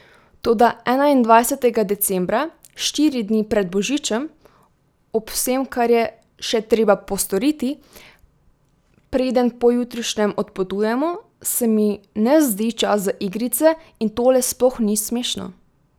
Toda enaindvajsetega decembra, štiri dni pred božičem, ob vsem, kar je še treba postoriti, preden pojutrišnjem odpotujemo, se mi ne zdi čas za igrice in tole sploh ni smešno.